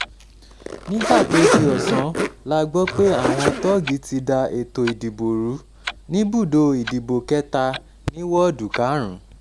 nígbà tó di ọ̀sán ọ̀sán la gbọ́ pé àwọn tóògì ti da ètò ìdìbò rú níbùdó ìdìbò kẹta ní wọ́ọ̀dù karùn-ún